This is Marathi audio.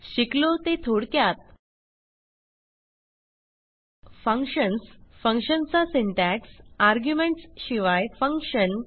शिकलो ते थोडक्यात फंक्शन्स फंक्शन चा सिंटॅक्स आर्ग्युमेंट्स शिवाय फंक्शन